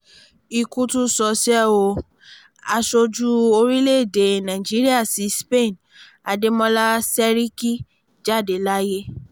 ikú tún ṣọṣẹ́ o aṣojú orílẹ̀‐èdè nàíjíríà sí spain adémọlá sẹ̀rìkí jáde láyé